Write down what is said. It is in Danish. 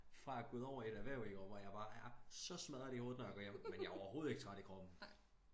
Fra at gået over i et erhverv i år hvor jeg bare er så smadret i hovedet når jeg går hjem men jeg overhoved ikke træt i kroppen